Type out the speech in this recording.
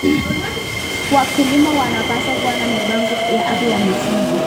Wakulima wanapaswa kuwa na mipango ya afya ya mifugo.